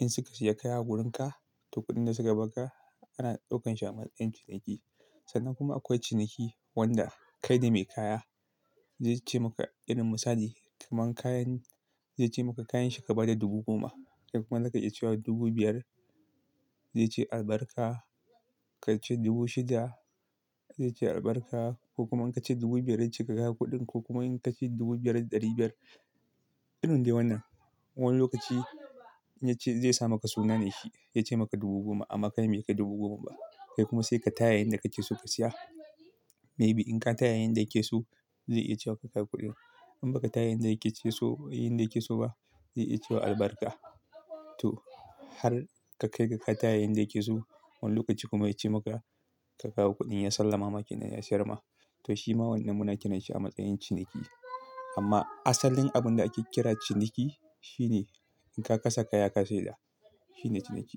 in suka siya kaya a wurinka, to kuɗin da suka ba ka ana ɗaukansa a matsayin ciniki. Sannan kuma akwai ciniki wanda kai ne mai kaya. Zai ce maka irin misali kaman kayan zai ce maka kayan shi ka ba da dubu goma. Kai kuma zaka iya cewa dubu biyar. Zai ce albarka, ka ce dubu shida zai ce albarka ko kuma in ka ce dubu biyar dai ci ka kawo kuɗin ko kuma in ka ce dubu biyar da ɗari biyar. Irin dai wannan. Wani lokaci ya ce zai sa maka suna ne shi ya ce maka dubu goma amma kai bai kai dubu goma ba. Kai kuma sai ka taya yanda ka ke so ka siya. Maybe in ka taya yanda ya ke so zai iya cewa ka kawo kuɗin. In baka taya yanda yake so, yanda yake so ba zai iya cewa albarka. To har ka kai ga ka taya yanda yake so, wani lokaci kuma ya ce maka ka kawo kuɗin ya salla mama ki nan ya siyar ma. To shi ma wannan muna tuna shi a matsayin ciniki. Amma asalin abin da ake kira ciniki shi ne in ka kasa kaya ka sayar. Shi ne ciniki.